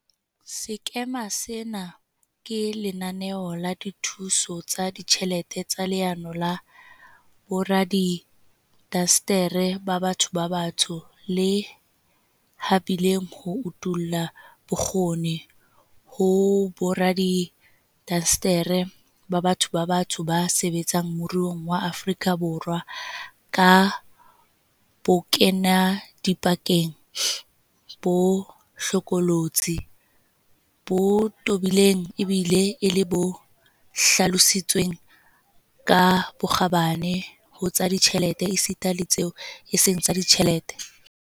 Sekema sena ke lenaneo la dithuso tsa ditjhelete tsa Leano la Boradiindasteri ba Batho ba Batsho, le habileng ho utolla bokgoni ho boradiindasteri ba batho ba batsho ba sebetsang moruong wa Aforika Borwa ka bokenadipakeng bo hlokolo tsi, bo tobileng ebile e le bo hlalositsweng ka bokgabane ho tsa ditjhelete esita le tseo e seng tsa ditjhelete.